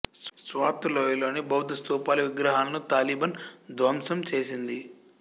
స్వాత్ లోయలోని బౌద్ధ స్థూపలు విగ్రహాలను తాలిబాన్ ధ్వంసం చేసింది